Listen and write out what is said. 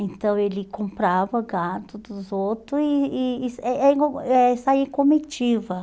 Então, ele comprava gado dos outros e e e eh eh eh saía em comitiva.